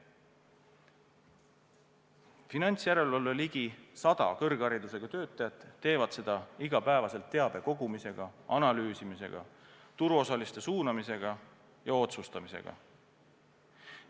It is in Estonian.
Finantsjärelevalve ligi sada kõrgharidusega töötajat tagavad seda iga päev teabe kogumisega, analüüsimisega, turuosaliste suunamisega ja otsustamisega.